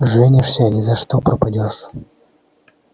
женишься ни за что пропадёшь